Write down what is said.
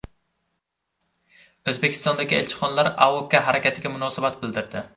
O‘zbekistondagi elchixonalar AOKA harakatiga munosabat bildirdi.